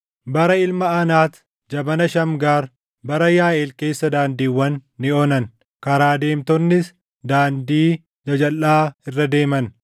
“Bara Ilma Anaat, jabana Shamgaar, bara Yaaʼeel keessa daandiiwwan ni onan; karaa deemtonnis daandii jajalʼaa irra deeman.